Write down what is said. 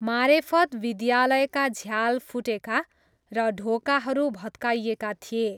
मारेफत विद्यालयका झ्याल फुटेका र ढोकाहरू भत्काइएका थिए।